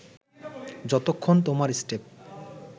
যতক্ষণ তোমার স্টেপ